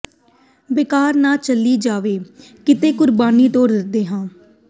ਬੇਕਾਰ ਨਾ ਚਲੀ ਜਾਵੇ ਕਿਤੇ ਕੁਰਬਾਨੀ ਤੋਂ ਡਰਦੇ ਹਾਂ